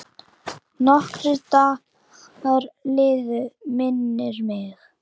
Nokkrir dagar liðu, minnir mig.